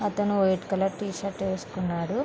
అతను white colour T shirt వేసుకొన్నాడు.